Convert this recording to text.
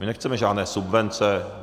My nechceme žádné subvence.